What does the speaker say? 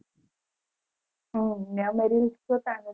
હમ આમાં rules તો ચાલે